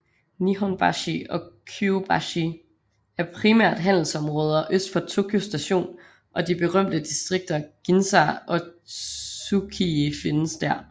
Nihonbashi og Kyobashi er primært handelsområder øst for Tokyo Station og de berømte distrikter Ginza og Tsukiji findes der